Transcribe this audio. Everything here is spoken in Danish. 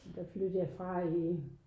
Der flyttede jeg fra i